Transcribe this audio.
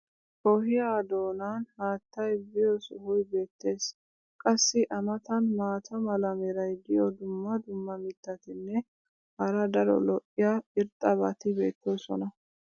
ohiyaa doonan haattay biyo sohoy beetees. qassi a matan maata mala meray diyo dumma dumma mitatinne hara daro lo'iya irxxabati beetoosona.